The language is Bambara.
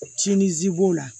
Tinizi b'o la